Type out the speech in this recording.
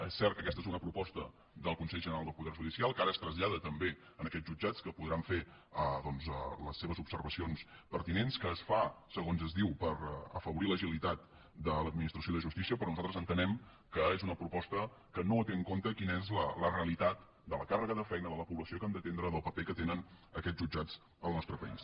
és cert que aquesta és una proposta del consell general del poder judicial que ara es trasllada també a aquests jutjats que podran fer les seves observacions pertinents que es fa segons es diu per afavorir l’agilitat de l’administració de justícia però nosaltres entenem que és una proposta que no té en compte quina és la realitat de la càrrega de feina de la població que han d’atendre del paper que tenen aquests jutjats al nostre país